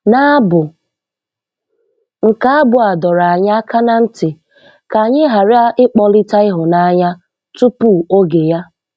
N' Abụ nke Abụ a dọrọ anyị aka na ntị ka anyị ghara ịkpọlite ịhụnanya tupu oge ya.